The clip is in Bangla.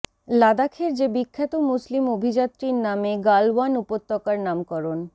লাদাখের যে বিখ্যাত মুসলিম অভিযাত্রীর নামে গালওয়ান উপত্যকার নামকরণ